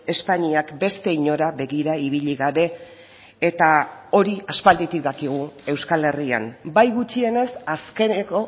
espainiak beste inora begira ibili gabe eta hori aspalditik dakigu euskal herrian bai gutxienez azkeneko